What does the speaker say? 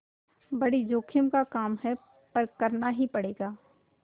बड़ी जोखिम का काम है पर करना ही पड़ेगा